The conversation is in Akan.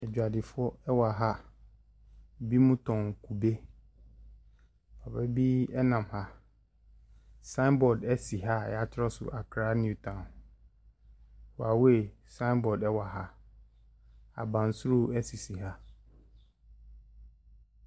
Edwadifoɔ ɛwɔ ha. Ebi mo tɔn kube. Ɛwura bi ɛnam ha. Signboard esi ha a yɛatwerɛ so Accra Newtown. Huawei signboard ɛwɔ ha. Abansoro esisi ha.